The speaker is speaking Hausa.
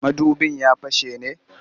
Mudubin ya fashe ne?